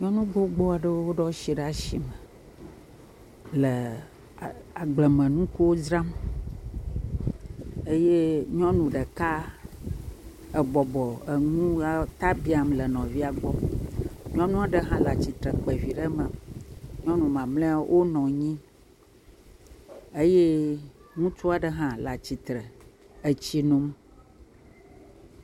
Nyɔnu gbogbo aɖewo ɖo asi ɖe asi me le agblemenukuwo dzram, eye nyɔnu ɖeka ebɔbɔ enu ta biam le nɔvia gbɔ. Nyɔnu aɖe hã le atsitre kpa vi ɖe me, nyɔnu mamleawo wonɔ anyi eye ŋutsu aɖe hã le atsitre le etsi nom.